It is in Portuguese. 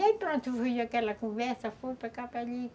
E aí, pronto, foi aquela conversa, foi para cá, para ali.